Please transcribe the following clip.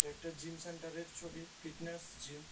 একটা জিম সেন্টারের ছবি ফিটনেস জিম ।